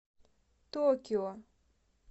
токио